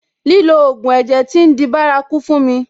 Lílo ògùn ẹ̀jẹ̀ tí ń di bárakú fún mi.